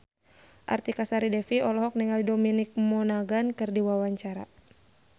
Artika Sari Devi olohok ningali Dominic Monaghan keur diwawancara